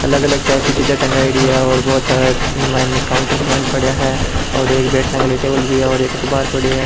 अलग अलग टाइप की चीजे टँगाईड़ी है और बहुत सारे इंग माइन काउंटर के माइन पड़िया है और एक बैग टांग रेया है टेबल भी है और एक अख़बार पड़ो है।